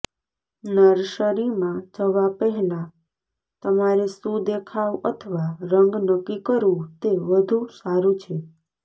નર્સરીમાં જવા પહેલાં તમારે શું દેખાવ અથવા રંગ નક્કી કરવું તે વધુ સારું છે